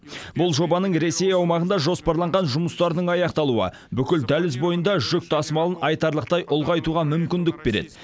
бұл жобаның ресей аумағында жоспарланған жұмыстарының аяқталуы бүкіл дәліз бойында жүк тасымалын айтарлықтай ұлғайтуға мүмкіндік береді